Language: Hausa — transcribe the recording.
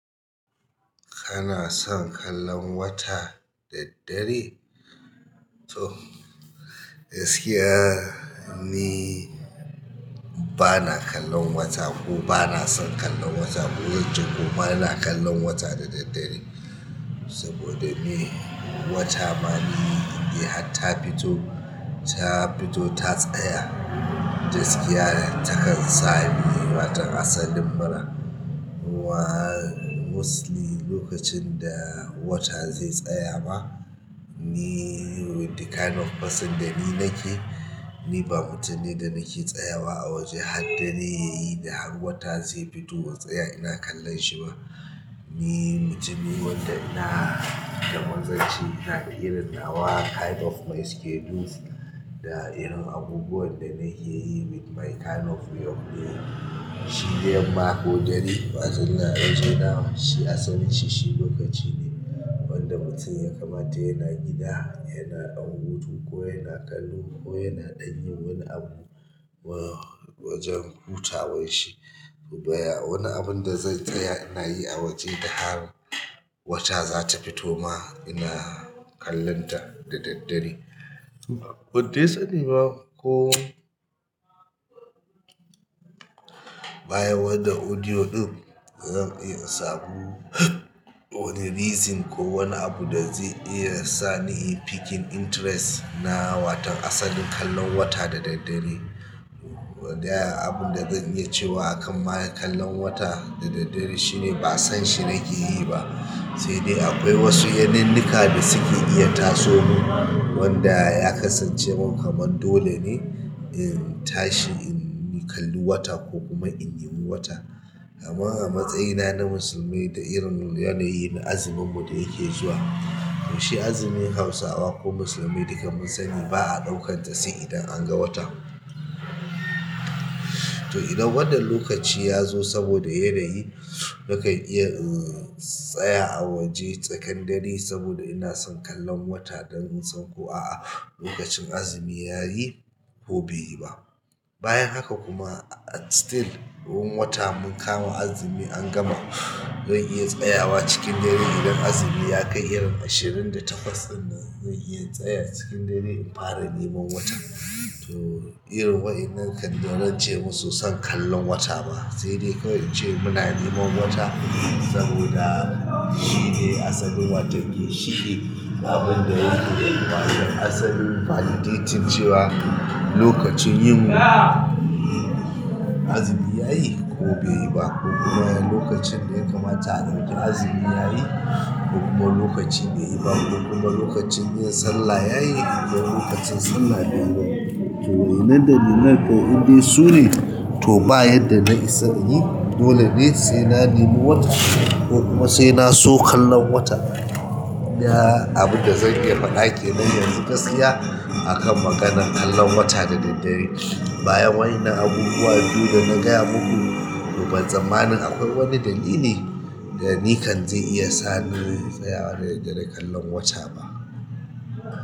Kana son kallon wata da daddare? To, gaskiya ni ba na kallon wata ko ba na son kallon wata ko wajen ko mara na kallon wata da daddare. Saboda me? Wata ma ni in hat ta fito, -ta fito ta tsaya, gaskiya, tayi sa ni watan asalin mira. Wa mosli lokacin da wata zai tsaya ba, ni with the kind of person da ni nake, ni ba mutum ne da nake tsayawa a waje haddare yayi da har wata zai fito in tsaya ina kallon shi ba. Ni mutumin wadda ina daman zan ce ina da yawan yawa kind of my schedules da irin abubuwan da nake yi with my kind of work ne. Shi dayam ma ko dare wajen na waje na shi asalin shi-shi lokaci ne wanda mutum ya kamata yana gida, yana ɗan hutu ko yana kallo ko yana ɗan yin wani abu wa wajen hutawan shi. Baya wani abun da zai tsaya ina yi a waje da har wata za ta fito ma ina kallonta da daddare. Ban te sani ba ko bayan wannan audio ɗin zan iya in samu wani reason ko wani abu da zai iya sa ni in picking interest na watan asalin kallon wata da daddare. Ɗaya abun da zan iya cewa a kan ma kallon wata da daddare shine ba san shi nake yi ba. Sai dai akwai wasu yaninnika da suke iya taso mu wanda ya kasance mun kaman dole ne in tashi in ni kalli wata ko kuma in ne mi wata. Amma a matsayina na musulmi da irin yanayi na azuminmu da yake zuwa, to shi azumin Hausawa ko musulmi duka mu sani ba a ɗaukan sa sai idan an ga wata. To, idan wannan lokaci ya zo saboda yanayi nakan iya in tsaya a waje tsakan dare saboda ina son kallon wata don in san ko a'a lokacin azumi ya yi ko bai yi ba. Bayan haka kuma still wun wata mun kama azumi an gama zan iya tsayawa cikin dare idan azumi ya kai irin ashirin da takwas ɗinnan zan iya tsaya cikin dare in fara ne man wata. To, irin wa innan kan da rance musu san kallon wata ba. Se de kawai in ce muna niman wata saboda shi dai asalin wato gin shi ƙe abun da asalin validating cewa lokacin yin azumi ya yi ko bai yi ba kuma lokacin da ya kamata a ɗauki azumi ya yi ko kuma lokacin ya yi ba ko kuma lokacin yin sallah ya yi ko lokacin sallah bai yo ba. To, nan dana mai ko indai su ne to bayadda na isa in yi dole ne sai na nemo wata ko kuma sai na so kallon wata. Iya abunda zan iya faɗa kenan yanzu gaskiya. A kan maganan kallon wata da daddare bayan wa, in nan abubuwa biyu da na gaya muku. Toban tsamanin akwai wani dalili da ni kan zai iya sa ni in tsaya da daddare kallon wata ba.